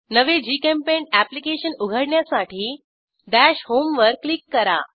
नवे GChemPaint application उघडण्यासाठी dash home वर क्लिक करा